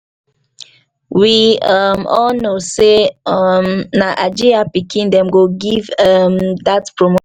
we um all know say um na hajiya pikin dem go give um dat promotion